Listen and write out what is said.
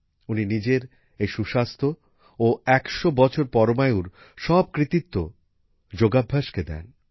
উনি নিজের এই সুস্বাস্থ্য ও ১০০ বছর পরমায়ুর সব কৃতিত্ব যোগাভ্যাসকে দেন